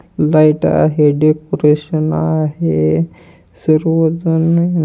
light आहे decoration आहे सर्वजण--